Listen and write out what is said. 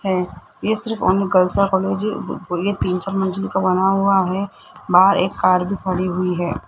हैं इस कॉलेज को ये तीन चार मंजिल का बना हुआ है बाहर एक कार भी पड़ी हुई है।